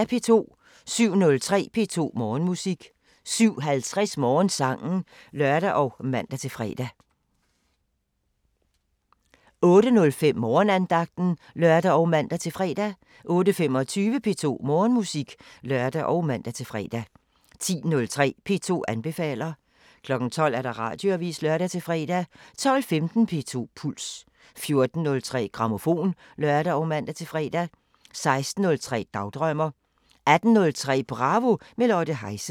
07:03: P2 Morgenmusik 07:50: Morgensangen (lør og man-fre) 08:05: Morgenandagten (lør og man-fre) 08:25: P2 Morgenmusik (lør og man-fre) 10:03: P2 anbefaler 12:00: Radioavisen (lør-fre) 12:15: P2 Puls 14:03: Grammofon (lør og man-fre) 16:03: Dagdrømmer 18:03: Bravo – med Lotte Heise